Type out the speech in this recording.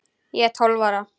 Ég er tólf ára.